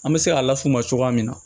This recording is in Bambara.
An bɛ se k'a laf'u ma cogoya min na